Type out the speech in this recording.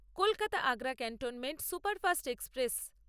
Kolkata Agra cantonment superfast express